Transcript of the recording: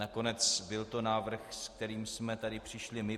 Nakonec byl to návrh, s kterým jsme tady přišli my.